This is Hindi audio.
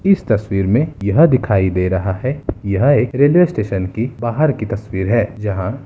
इस तस्वीर मे यह दिखाई दे रहा है यह एक रेलवे स्टेशन की बाहर की तस्वीर है जहां --